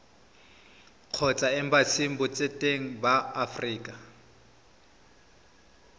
kgotsa embasing botseteng ba aforika